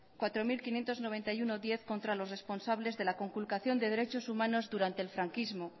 cuatro mil quinientos noventa y uno barra diez contra los responsables de la conculcación de derechos humanos durante el franquismo